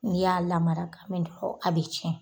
N'i y'a lamara ka mɛn nin kɔ, a bɛ tiɲɛn.